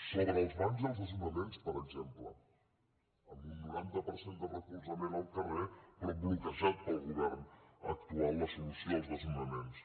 sobre els bancs i els desnonaments per exemple amb un noranta per cent de recolzament al carrer però bloquejada pel govern actual la solució als desnonaments